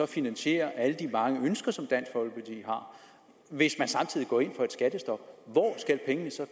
finansiere alle de mange ønsker som dansk folkeparti har hvis man samtidig går ind for et skattestop hvor skal pengene så